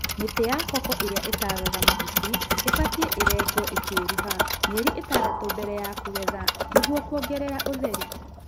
Mĩtĩ ya koko ĩrĩia ĩtataga mahuti ĩbatie ĩrengwo ĩkĩruha mĩeri ĩtadatu mbere ya kũgetha nĩgĩũo kũongerera ũtheri.